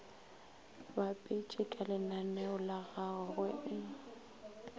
bapetše kalenaneo lagago go e